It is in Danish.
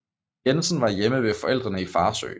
Jensen var hjemme ved forældrene i Farsø